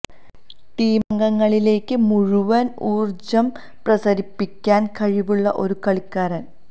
ടീമം ഗങ്ങളിലേക്ക് മുഴുവന് ഊര് ജം പ്രസരിപ്പിക്കാന് കഴിവുള്ള ഒരു കളിക്കാരന്